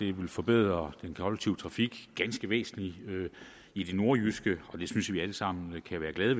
det vil forbedre den kollektive trafik ganske væsentligt i det nordjyske og det synes vi alle sammen kan være glade